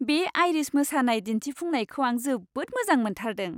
बे आइरिश मोसानाय दिन्थिफुंनायखौ आं जोबोद मोजां मोनथारदों।